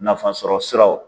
Nafasɔrɔ siraw.